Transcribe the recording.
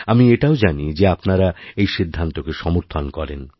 আমি এটাও জানি যে আপনারা এই সিদ্ধান্তকে সমর্থন করেন